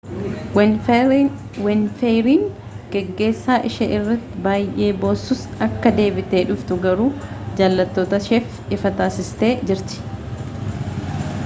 winfrey'n geeggeessaa ishee irratti baayyee boossus akka deebitee dhuftu garuu jaalattoota isheetif ifa taasistee jirti